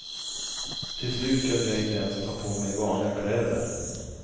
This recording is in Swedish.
Till slut kunde jag inte ens ta på mig vanliga kläder.